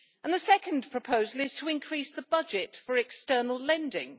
The second proposal is to increase the budget for external lending.